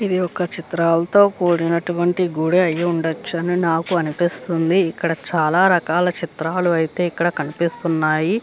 ఇది ఒక్క చిత్రలతో కూడినట్వాంటి గుడి ఐ ఉండొచ్చు అని నాకు అనిపిస్తుంది. ఇక్కడ చాలా రకాల చిత్రాలు అయితే ఇక్కడ కనిపిస్తున్నాయి.